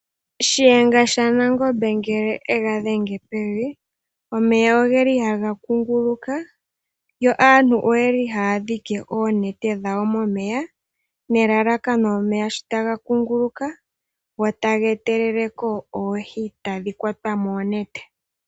Shiyenga shaNangombe ngele ega dhenge pevi, omeya ogeli haga kunguluka yo aantu oyeli haya dhike oonete dhawo momeya nelalakano omeya sho taga ngunguluka go taga etelele ko oohi tadhi kwatwa moonete.